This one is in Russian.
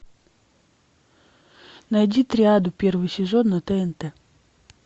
найди триаду первый сезон на тнт